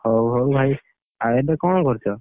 ହଉ ହଉ ଭାଇ। ଆଉ ଏବେ କଣ କରୁଚ?